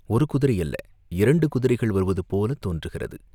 ஒரு குதிரை அல்ல, இரண்டு குதிரைகள் வருவதுபோலத் தோன்றுகிறது.